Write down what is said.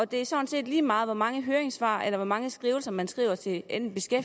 det er sådan set lige meget hvor mange høringssvar eller hvor mange skrivelser man sender til enten